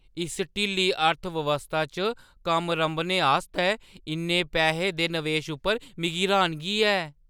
इस ढिल्ली अर्थ-व्यवस्था च कम्म रंभने आस्तै इन्ने पैहें दे निवेश उप्पर मिगी र्‌हानगी ऐ।